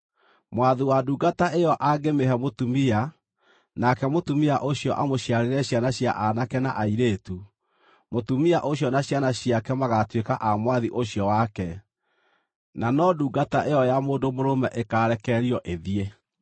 Mwathi wa ndungata ĩyo angĩmĩhe mũtumia nake mũtumia ũcio amũciarĩre ciana cia aanake na airĩtu, mũtumia ũcio na ciana ciake magaatuĩka a mwathi ũcio wake, na no ndungata ĩyo ya mũndũ mũrũme ĩkaarekererio ĩthiĩ.